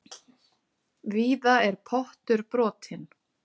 Víða er pottur brotinn.